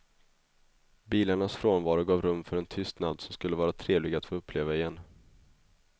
Bilarnas frånvaro gav rum för en tystnad som skulle vara trevlig att få uppleva igen.